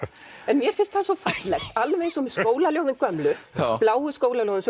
mér finnst það svo fallegt alveg eins og með skólaljóðin gömlu bláu skólaljóðin